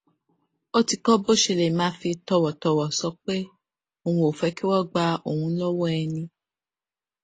ó ti kó bó ṣe lè máa fi tòwòtòwò sọ pé òun ò fé kí wón gba òun lówó ẹni